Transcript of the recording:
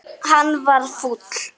Hann varð fúll.